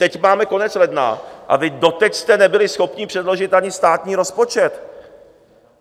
Teď máme konec ledna, a vy jste doteď nebyli schopni předložit ani státní rozpočet.